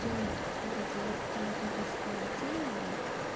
делать смотрите вот тематическое оценивание